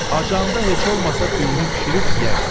Acanda heç olmasa düyünü bişirib yeyərsən.